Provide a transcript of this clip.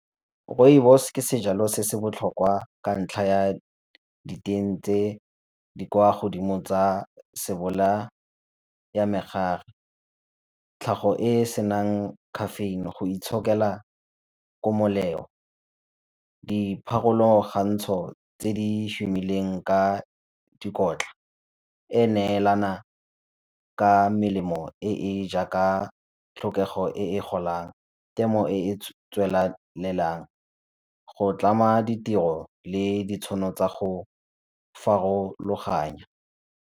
Rooibos ke sejalo se se botlhokwa ka ntlha ya diteng tse di kwa godimo tsa se bolaya megare. Tlhago e e senang caffeine go itshokela dipharologantsho tse di shomileng ka dikotla e neelana ka melemo e e jaaka tlhokego e e golang, temo e e tswelelang go tlama ditiro le ditšhono tsa go farologana.